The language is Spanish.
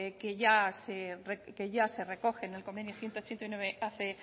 que ya se recoge en el convenio ciento ochenta y nueve hace